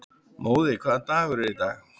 Móði, hvaða dagur er í dag?